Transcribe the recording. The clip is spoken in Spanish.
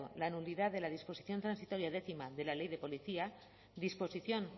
la nulidad de la disposición transitoria décima de la ley de policía vasca disposición